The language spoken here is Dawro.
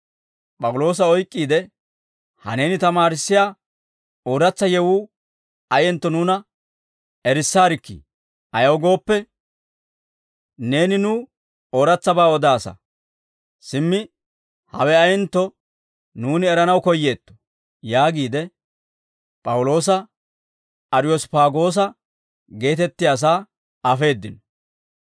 P'awuloosa oyk'k'iide, «Ha neeni tamaarissiyaa ooratsa yewuu ayentto nuuna erissaarikkii? Ayaw gooppe, neeni nuw ooratsabaa odaasa; simmi hawe ayentto nuuni eranaw koyyeetto» yaagiide P'awuloosa Ariyosppaagoosa geetettiyaasaa afeeddino.